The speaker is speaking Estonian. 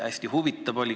Hästi huvitav oli.